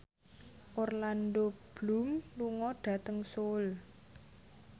Orlando Bloom lunga dhateng Seoul